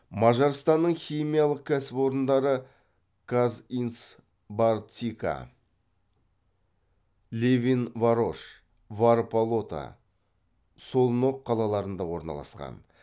мажарстанның химиялық кәсіпорындары казинцбарцика левинварош варпалота солноқ қалаларында орналасқан